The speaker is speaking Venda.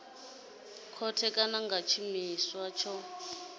khothe kana nga tshiimiswa tsho